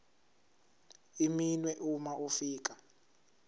iminwe uma ufika